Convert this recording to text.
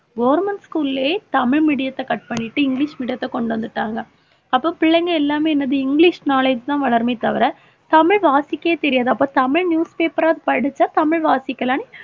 government school லயே Tamil medium த்தை cut பண்ணிட்டு இங்கிலிஷ் medium த்தை கொண்டு வந்துட்டாங்க. அப்ப பிள்ளைங்க எல்லாமே என்னது இங்கிலிஷ் knowledge தான் வளருமே தவிர தமிழ் வாசிக்கவே தெரியாது. அப்ப தமிழ் news paper அ படிச்சா தமிழ் வாசிக்கலான்னு